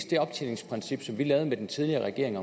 det optjeningsprincip som vi lavede med den tidligere regering